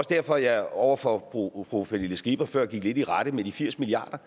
derfor jeg over for fru pernille skipper før gik lidt i rette med de firs milliard